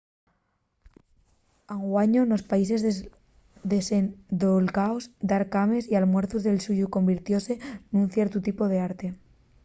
anguaño nos países desendolcaos dar cames y almuerzos de lluxu convirtióse nun ciertu tipu d’arte